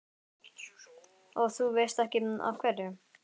Og þú veist ekki af hverju?